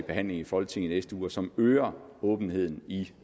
behandling i folketinget i næste uge og som øger åbenheden i